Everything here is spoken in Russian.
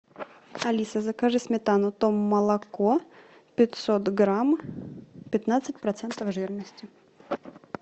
алиса закажи сметану том молоко пятьсот грамм пятнадцать процентов жирности